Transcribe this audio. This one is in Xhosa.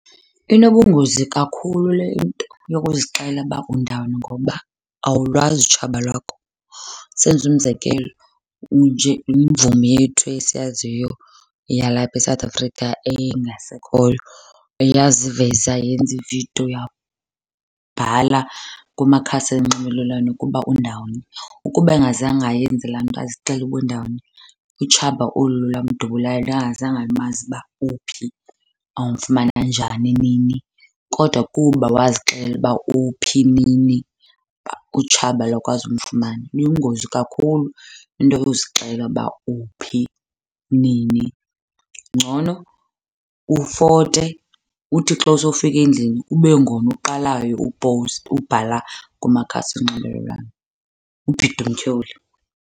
Inobungozi kakhulu le nto yokuzixela uba undawoni ngoba awulwazi utshaba lwakho. Senze umzekelo, unje imvumi yethu esiyaziyo yalapha eSouth Africa engasekhoyo eyaziveza yenza ividiyo, yabhala kumakhasi onxibelelwano ukuba undawoni. Ukuba engazange ayenze laa nto azixele uba undawoni, utshaba olu lamdubulayo lalungazange lumazi uba uphi, bawumfumana njani nini. Kodwa kuba wazixela uba uphi nini utshaba lakwazi umfumana. Buyingozi kakhulu into yozixelela uba uphi nini. Ngcono ufote uthi xa usofika endlini ube ngona uqalayo ubhala kumakhasi onxibelelwano, ubhide umtyholi.